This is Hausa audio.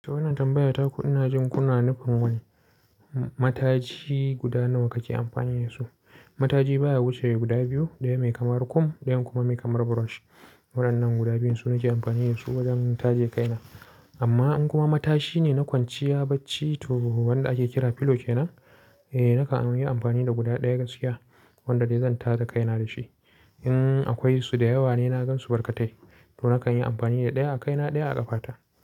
To wannan tambaya ta ku ina jin kuna nufin wani Matashi guda nawa kake amfani da su? Mataji baya wuce guda biyu, ɗaya mai kamar comb ɗayan kuma mai kamar brush. Waɗannan guda biyun su nake amfani da su wajen taje kaina. Amma in kuma matashi ne na kwanciya bacci to wanda ake kira pillow kenan, eh nakan yi amfani da guda ɗaya gaskiya wanda dai zan tada kaina da shi. Innn akwai su da yawa ne na gansu barkatai, to nakan yi amfani da ɗaya a kaina ɗaya a ƙafata.